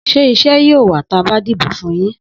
Sẹ ìsẹ yio wà tàbá dibo fún yin?